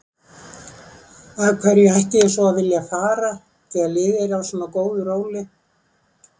Landsvirkjun kaupir skuldabréf til baka